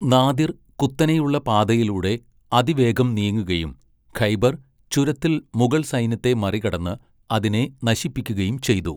Nadir കുത്തനെയുള്ള പാതയിലൂടെ അതിവേഗം നീങ്ങുകയും ഖൈബർ ചുരത്തിൽ മുഗൾ സൈന്യത്തെ മറികടന്ന് അതിനെ നശിപ്പിക്കുകയും ചെയ്തു.